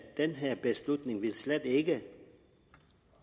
den her beslutning slet ikke vil